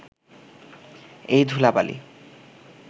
এই ধূলা-বালি